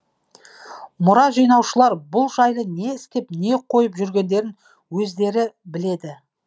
мұра жинаушылар бұл жайлы не істеп не қойып жүргендерін өздері біледі